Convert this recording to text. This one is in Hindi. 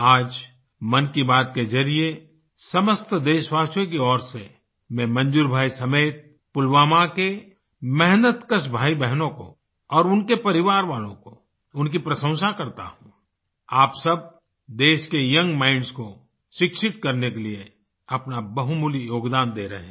आज मन की बात के जरिये समस्त देशवासियों की ओर से मैं मंजूर भाई समेत पुलवामा के मेहनतकश भाईबहनों को और उनके परिवार वालों को उनकी प्रशंसा करता हूँ आप सब देश के यंग माइंड्स को शिक्षित करने के लिए अपना बहुमूल्य योगदान दे रहे हैं